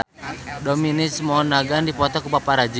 Dominic Monaghan dipoto ku paparazi